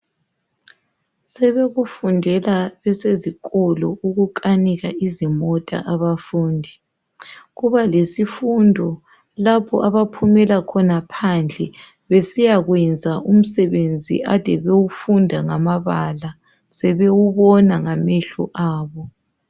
Sebekufundela bezisesikolo ukukunika izimota abafundi, kuba lezifundo lapho abaphumela khona phandle besiyakwenza umsebenzi ade bewufunda ngamabala sebewubona ngamehlo abo.